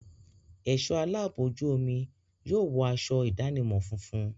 Ẹ̀ṣọ́ aláàbò ojú omi yóò wọ aṣọ ìdánimọ̀ funfun.